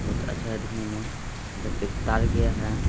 बहोत अच्छा है दिखने में इधर पे एक तार गया है।